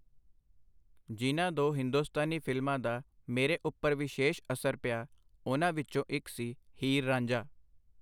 ਜਿਨ੍ਹਾਂ ਦੋ ਹਿੰਦੁਸਤਾਨੀ ਫਿਲਮਾਂ ਦਾ ਮੇਰੇ ਉਪਰ ਵਿਸ਼ੇਸ਼ ਅਸਰ ਪਿਆ, ਉਹਨਾਂ ਵਿਚੋਂ ਇਕ ਸੀ, ਹੀਰ ਰਾਂਝਾ.